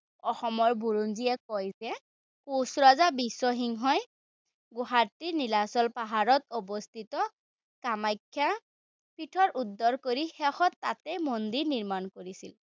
অসমৰ বুৰঞ্জীয়ে কয় যে কোচ ৰজা বিশ্বসিংহই গুৱাহাটীৰ নীলাচল পাহাৰত অৱস্থিত কামাখ্যা পীঠৰ উদ্ধাৰ কৰি শেষত তাতে মন্দিৰ নিৰ্মাণ কৰিছিল।